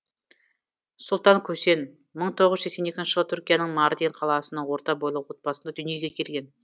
сұлтан көсен мың тоғыз жүз сексен екінші жылы түркияның мардин қаласының орта бойлы отбасында дүниеге келген